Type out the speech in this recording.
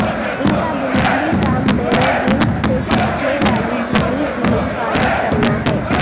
ان کا بنیادی کام پیروجینز سے چپکنے والی جھلی کی حفاظت کرنا ہے